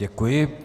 Děkuji.